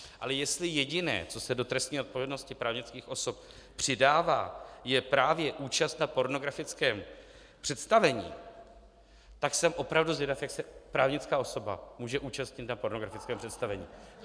Ale jestli jediné, co se do trestní odpovědnosti právnických osob přidává, je právě účast na pornografickém představení, tak jsem opravdu zvědav, jak se právnická osoba může účastnit na pornografickém představení.